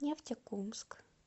нефтекумск